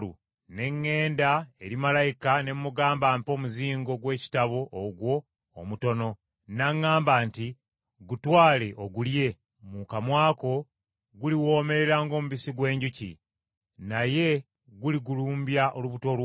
Ne ŋŋenda eri malayika ne mugamba ampe omuzingo gw’ekitabo ogwo omutono. N’aŋŋamba nti, “Gutwale ogulye; mu kamwa ko guliwoomerera ng’omubisi gw’enjuki, naye guligulumbya olubuto lwo.”